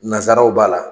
Nanzaraw b'a la